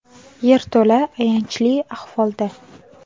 Yerto‘la ayanchli ahvolda.